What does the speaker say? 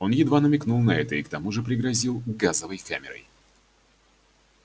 он едва намекнул на это и к тому же пригрозил газовой камерой